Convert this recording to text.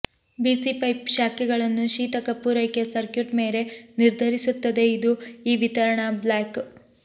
ಬಿಸಿ pipe ಶಾಖೆಗಳನ್ನು ಶೀತಕ ಪೂರೈಕೆ ಸರ್ಕ್ಯೂಟ್ ಮೇರೆ ನಿರ್ಧರಿಸುತ್ತದೆ ಇದು ಈ ವಿತರಣಾ ಬ್ಲಾಕ್